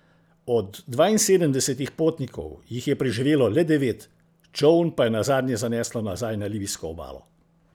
Od dvainsedemdesetih potnikov jih je preživelo le devet, čoln pa je nazadnje zaneslo nazaj na libijsko obalo.